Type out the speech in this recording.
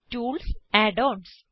tools add ons